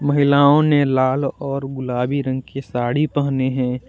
महिलाओं ने लाल और गुलाबी रंग की साड़ी पहनी है।